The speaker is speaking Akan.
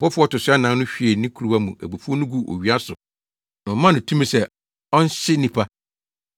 Ɔbɔfo a ɔto so anan no hwiee ne kuruwa mu abufuw no guu owia so na wɔmaa no tumi sɛ ɔnhye nnipa.